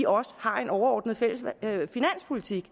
også har en overordnet fælles finanspolitik